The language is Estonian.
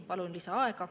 Palun lisaaega.